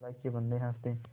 अल्लाह के बन्दे हंस दे